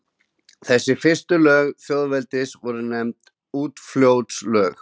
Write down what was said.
Þessi fyrstu lög þjóðveldisins voru nefnd Úlfljótslög.